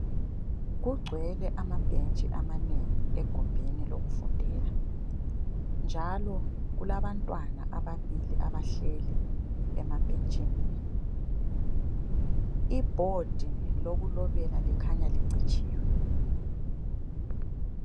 Kugcwele amabhentshi amanengi egumbini lokufundela, njalo kulabantwana ababili abahleli emabhentshini. Ibhodi lokulobela likhanya licitshiwe.